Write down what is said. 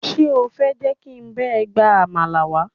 Ṣé o fẹ́ jẹ́ kí n bá ẹ gba àmàlà wá?